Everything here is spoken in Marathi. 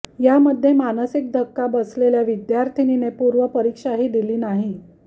यामध्ये मानसिक धक्का बसलेल्या विद्यार्थिनीने पूर्व परीक्षाही दिली नाही